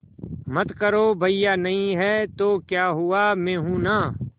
मत करो भैया नहीं हैं तो क्या हुआ मैं हूं ना